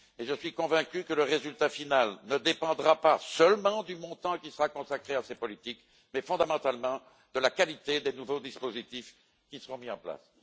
Je suis convaincu que le résultat final ne dépendra pas seulement du montant qui sera consacré à ces politiques mais, fondamentalement, de la qualité des nouveaux dispositifs qui seront mis en place.